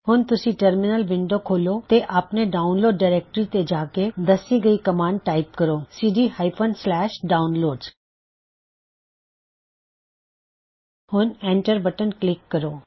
ਹੁਣ ਤੁਸੀਂ terminal window ਖੋਲੋ ਤੇ ਆਪਣੇ ਡਾਉਨਲੋਡ ਡਾਇਰੈਕਟਰੀ ਤੇ ਜਾ ਕੇ ਦੱਸੀਗਈ ਕਮਾਂਡ ਟਾਇਪ ਕਰੋ cddownloads ਹੁਣ ਐਂਟਰ ਬਟਨ ਕਲਿੱਕ ਕਰੋ